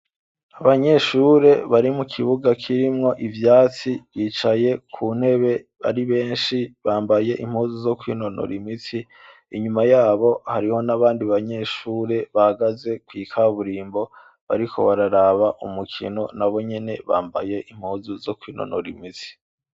Abanyeshure bari mu kibuga kirimwo ivyatsi bicaye ku ntebe ari benshi bambaye impuzu zo kwinonora imitsi inyuma yabo hariho n'abandi banyeshure bahagaze kw'ikaburimbo bariko bararaba umukino na bo nyene bambaye impuzu zo kwinonora imitsi.